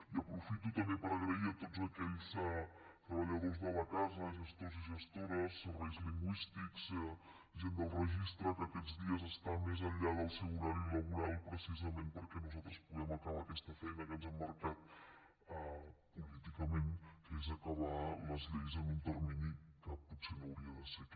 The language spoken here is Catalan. i aprofito també per donar les gràcies a tots aquells treballadors de la casa gestors i gestores serveis lingüístics gent del registre que aquests dies estan més enllà del seu horari laboral precisament perquè nosaltres puguem acabar aquesta feina que ens hem marcat políticament que és acabar les lleis en un termini que potser no hauria de ser aquest